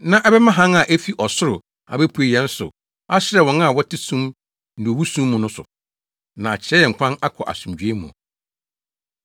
na ɛbɛma hann a efi ɔsoro abepue yɛn so ahyerɛn wɔn a wɔte sum ne owu sum mu no so, na akyerɛ yɛn kwan akɔ asomdwoe mu.”